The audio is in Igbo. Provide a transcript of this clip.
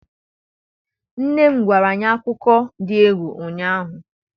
nne m gwara anyi akuko di egwu ụnyanya.